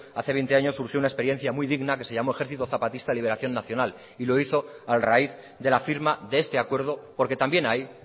hace veinte años surgió una experiencia muy digna que se llamó ejército zapatista de liberación nacional y lo hizo a raíz de la firma de este acuerdo porque también ahí